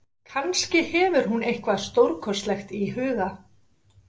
Kannski hefur hún eitthvað stórkostlegt í huga.